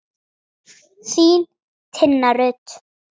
Þín, Tinna Rut.